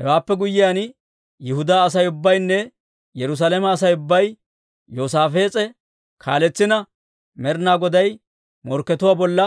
Hewaappe guyyiyaan, Yihudaa Asay ubbaynne Yerusaalame Asay ubbay, Yoosaafees'e kaaletsina, Med'inaa Goday Morkketuwaa Bolla